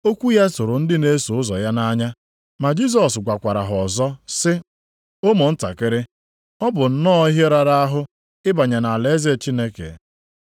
Okwu ya tụrụ ndị na-eso ụzọ ya nʼanya, ma Jisọs gwakwara ha ọzọ sị, “Ụmụntakịrị, ọ bụ nnọọ ihe rara ahụ ịbanye nʼalaeze Chineke.